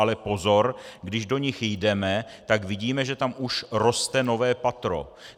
Ale pozor - když do nich jdeme, tak vidíme, že tam už roste nové patro.